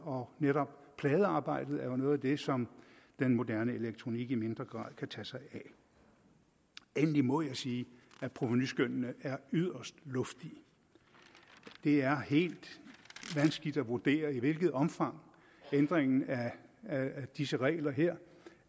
og netop pladearbejdet er jo noget af det som den moderne elektronik i mindre grad kan tage sig af endelig må jeg sige at provenuskønnene er yderst luftige det er helt vanskeligt at vurdere i hvilket omfang ændringen af af disse regler her